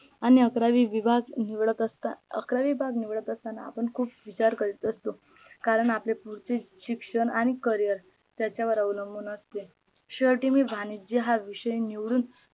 आणि अकरावी विवाघ निवडत असतात अकरावी भाग निवडत असताना आपण विचार करत असत कारण आपले पुढचे शिक्षण आणि career त्याच्यावर अवलंबून असते शेवटी मी वाणिज्य हा विषय निवडून